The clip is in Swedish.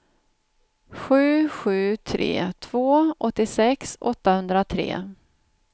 sju sju tre två åttiosex åttahundratre